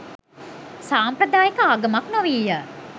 සාම්ප්‍රදායික ආගමක් නොවීය.